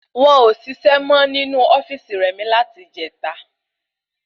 Won ọ ṣiṣẹ mọ ninu ofíìsì rẹ̀mí láti ìjeta